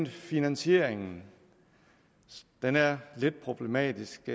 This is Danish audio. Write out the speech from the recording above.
finansieringen den er lidt problematisk